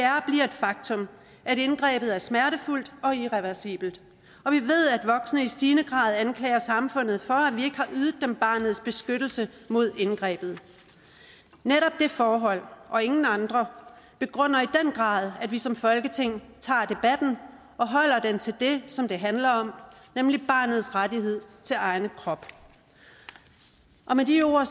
et faktum at indgrebet er smertefuldt og irreversibelt og vi ved at voksne i stigende grad anklager samfundet for at dem barnets beskyttelse mod indgrebet netop det forhold og ingen andre begrunder i den grad at vi som folketing tager debatten og holder den til det som det handler om nemlig barnets rettighed til egen krop med de ord